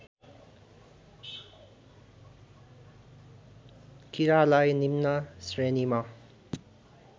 कीरालाई निम्न श्रेणीमा